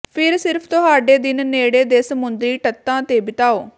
ਫਿਰ ਸਿਰਫ ਤੁਹਾਡੇ ਦਿਨ ਨੇੜੇ ਦੇ ਸਮੁੰਦਰੀ ਤੱਟਾਂ ਤੇ ਬਿਤਾਓ